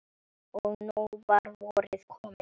Og nú var vorið komið.